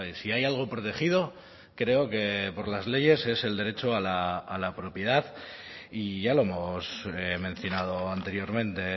si hay algo protegido creo que por las leyes es el derecho a la propiedad y ya lo hemos mencionado anteriormente